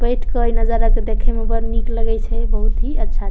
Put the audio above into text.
बैठ के ई नजारा के देखे में बड़ नीक लगे छै बहुत ही अच्छा --